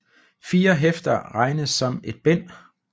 Fire hæfter regnes som et bind